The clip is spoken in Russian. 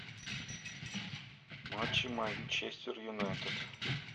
матчи манчестер юнайтед